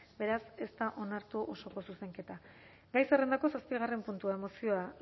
beraz ez da onartu osoko zuzenketa gai zerrendako zazpigarren puntua mozioa